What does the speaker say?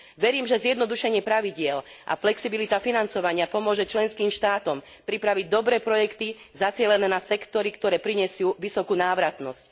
Verím, že zjednodušenie pravidiel a flexibilita financovania pomôže členským štátom pripraviť dobré projekty zacielené na sektory, ktoré prinesú vysokú návratnosť.